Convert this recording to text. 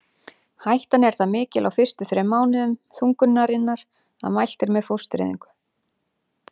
Hættan er það mikil á fyrstu þrem mánuðum þungunarinnar að mælt er með fóstureyðingu.